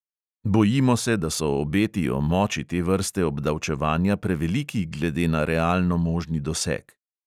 Bojimo se, da so obeti o moči te vrste obdavčevanja preveliki glede na realno možni doseg.